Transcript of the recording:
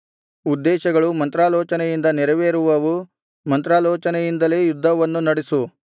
ಉದ್ದೇಶಗಳು ಮಂತ್ರಾಲೋಚನೆಯಿಂದ ನೆರವೇರುವವು ಮಂತ್ರಾಲೋಚನೆಯಿಂದಲೇ ಯುದ್ಧವನ್ನು ನಡಿಸು